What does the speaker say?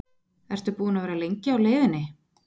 Ertu búinn að vera lengi á leiðinni?